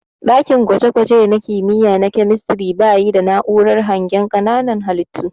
Ɗakin gwaje gwaje na kimiyya na kemistiri bayi da na'urar hangen ƙananan halittu.